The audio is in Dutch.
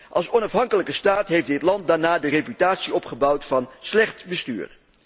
Als onafhankelijke staat heeft dit land daarna de reputatie opgebouwd van slecht bestuur.